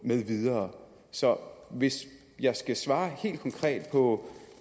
med videre så hvis jeg skal svare helt konkret på